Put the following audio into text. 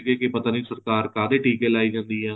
ਕੀ ਪਤਾ ਨਹੀਂ ਸਰਕਾਰ ਕਾਹਦੇ ਟੀਕੇ ਲਾਈ ਜਾਂਦੀ ਆਂ